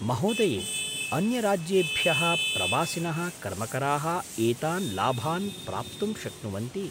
महोदये, अन्यराज्येभ्यः प्रवासिनः कर्मकराः एतान् लाभान् प्राप्तुं शक्नुवन्ति।